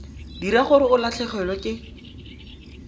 dira gore o latlhegelwe ke